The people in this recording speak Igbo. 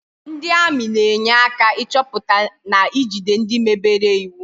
Ndị ami na-enye aka ịchọpụta na ijide ndị mebere iwu